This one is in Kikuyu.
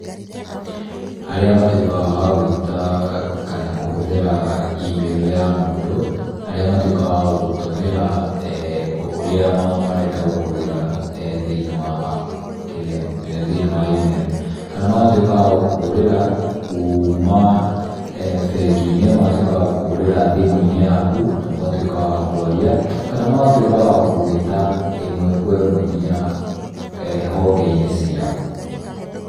Harĩa matuĩkaga wa gũĩta kana kũhũthĩra email ya mũndũ, harĩa matuĩkaga wa gũgũtũmĩra e, ũrĩa marenda gũkũĩra, thĩini wa kĩrĩa, thĩinĩ wa email. Kana magatuĩka wa gũkũhũrĩra kuuma, bengi-inĩ, matuĩkaga wa gũkũhũrĩra thimũ-inĩ yaku na magatuĩkaga wa kwarĩa. Kana magatuĩka wa gũgũĩta ĩmwe kwa ĩmwe nginya honge-inĩ ciao.